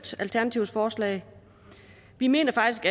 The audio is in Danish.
alternativets forslag vi mener faktisk